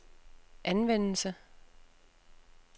anvendelse